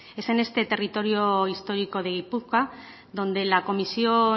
es en este territorio histórico de gipuzkoa donde la comisión